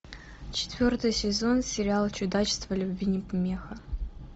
четвертый сезон сериала чудачества любви не помеха